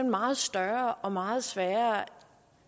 meget større og meget sværere